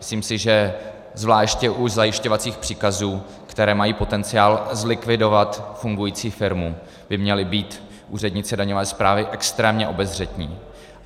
Myslím si, že zvláště u zajišťovacích příkazů, které mají potenciál zlikvidovat fungující firmu, by měli být úředníci daňové správy extrémně obezřetní.